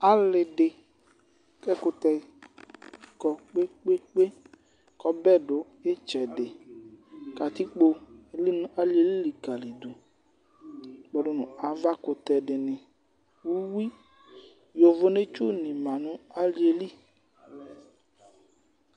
Ali di k'ɛkutɛ kɔ̃ kpekpekpé k'ɔbɛ du itsɛdi katikpo eli nu aliɛli likalidù kpɔdu nu avakutɛ dini, úwi, yovonetsu ni mã nu aliɛli